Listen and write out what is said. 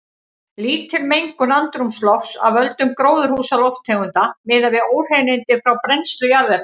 Lítil mengun andrúmslofts af völdum gróðurhúsalofttegunda miðað við óhreinindi frá brennslu jarðefna.